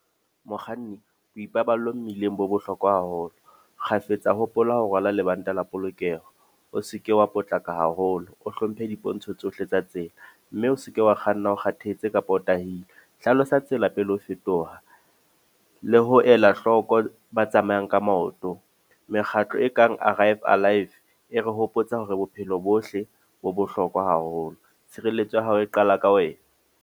Mokganni, bo ipaballo mmileng bo bohlokwa haholo. Kgafetsa hopola ho rwala lebanta la polokeho. O seke wa potlaka haholo. O hlomphe dipontsho tsohle tsa tsela. Mme o seke wa kganna o kgathetse kapa o tahilwe. Hlalosa ho tsela pele o fetoha. Le ho ela hloko ba tsamayang ka maoto. Mekgatlo e kang Arrive Alive, e re hopotsa hore bophelo bohle bo bohlokwa haholo. Tshireletso ya hao e qala ka wena.